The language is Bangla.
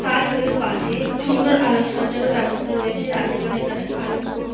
হাইওয়ে -এর পাশে সুন্দর আলোকসজ্জার ব্যবস্থা রয়েছে। রাতের বেলায় এখানে আলোর কোনো --